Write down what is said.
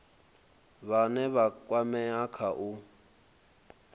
vhane vha kwamea kha u